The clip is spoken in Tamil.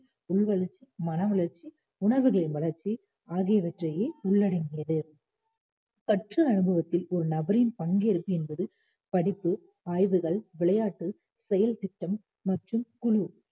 உங்கள் மன வளர்ச்சி உணர்வுகளின் வளர்ச்சி ஆகியவற்றையே உள்ளடங்கியது கற்றல் அனுபவத்தில் ஒரு நபரின் பங்கேற்பு என்பது படிப்பு ஆய்வுகள் விளையாட்டு செயல் திட்டம் மற்றும் குழு